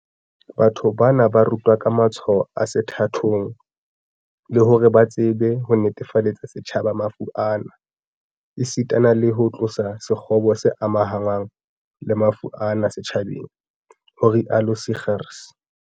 "Batho bana ba rutwa ka matshwao a sethathong, le hore ba tsebe ho netefaletsa setjhaba mafu ana, esita le ho tlosa sekgobo se amahanngwang le mafu ana setjhabeng", ho rialo Seegers